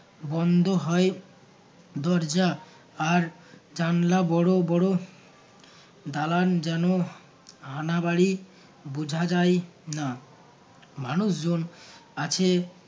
বন্ধ হয় দরজা আর জানলা বড় বড় দালান যেন হানাবাড়ি বোঝা যায় না মানুষজন আছে